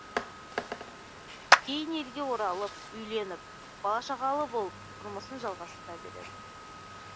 кейін елге оралып үйленіп бала шағалы болып тұрмысын жалғастыра береді